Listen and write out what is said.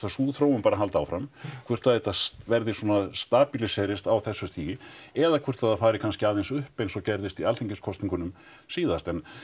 sú þróun bara haldi áfram hvort að þetta verði svona á þessu stigi eða hvort það fari kannski aðeins upp eins og gerðist í alþingiskosningunum síðast en